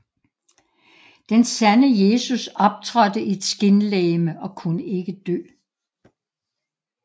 Den sande Jesus optrådte i et skinlegeme og kunne ikke dø